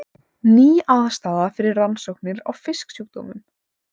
Ný aðstaða fyrir rannsóknir á fisksjúkdómum